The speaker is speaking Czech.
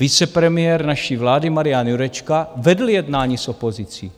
Vicepremiér naší vlády Marian Jurečka vedl jednání s opozicí.